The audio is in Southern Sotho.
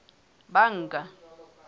banka